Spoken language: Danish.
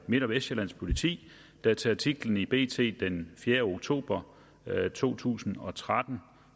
midt og vestsjællands politi der til artiklen i bt den fjerde oktober to tusind og tretten